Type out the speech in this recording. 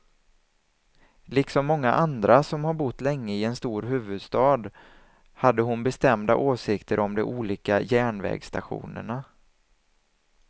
Liksom många andra som har bott länge i en stor huvudstad hade hon bestämda åsikter om de olika järnvägsstationerna.